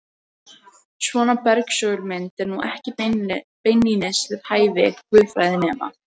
Svona bersögul mynd er nú ekki beinlínis við hæfi guðfræðinema.